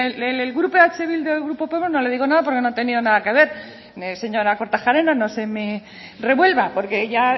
en el grupo eh bildu y el grupo podemos no le digo nada porque no he tenido nada que ver señora kortajarena no se me revuelva porque ya